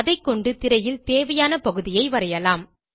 அதைகொண்டு திரையில் தேவையான பகுதியை வரையலாம்